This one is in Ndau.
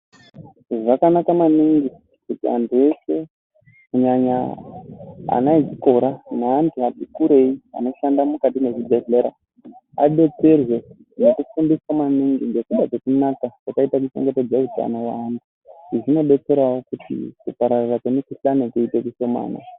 Zvakanaka maningi kuti antu eshe kunyanya ana echikora neantu ati kurei anoshanda mukati mwezvibhehlera adetserwe nekufundiswa maningi ngekuda kwekunaka kwakaita kuchengetedza utano weana. Izvi zvinodetserawo kuti kupararira kwemukhuhlani kuite kushomani.